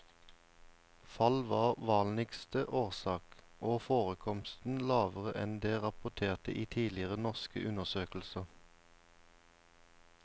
Fall var vanligste årsak, og forekomsten lavere enn det rapporterte i tidligere norske undersøkelser.